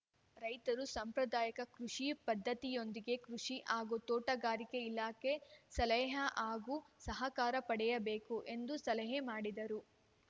ರೈತರು ಸಾಂಪ್ರದಾಯಕ ಕೃಷಿ ಪದ್ಧತಿಯೊಂದಿಗೆ ಕೃಷಿ ಹಾಗೂ ತೋಟಗಾರಿಕೆ ಇಲಾಖೆ ಸಲಹೆ ಹಾಗೂ ಸಹಕಾರ ಪಡೆಯಬೇಕು ಎಂದು ಸಲಹೆ ಮಾಡಿದರು